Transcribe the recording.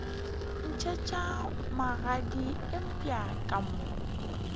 ntšhetšwa magadi eupša ka mo